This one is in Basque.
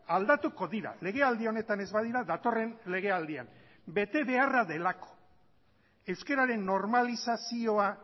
aldatuko dira legealdi honetan ez badira datorren legealdian betebeharra delako euskararen normalizazioa